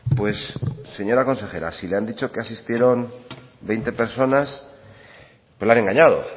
pues señora consejera si le han dicho que asistieron veinte personas pues le han engañado